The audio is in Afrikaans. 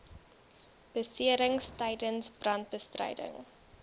beserings tydens brandbestryding